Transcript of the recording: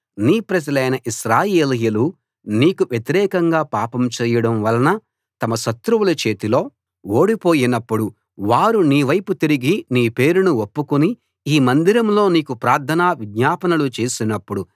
నీ ప్రజలైన ఇశ్రాయేలీయులు నీకు వ్యతిరేకంగా పాపం చేయడం వలన తమ శత్రువుల చేతిలో ఓడిపోయినప్పుడు వారు నీ వైపు తిరిగి నీ పేరును ఒప్పుకుని ఈ మందిరంలో నీకు ప్రార్థనా విజ్ఞాపనలు చేసినప్పుడు